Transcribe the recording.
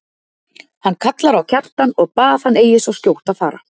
Hann kallar á Kjartan og bað hann eigi svo skjótt fara.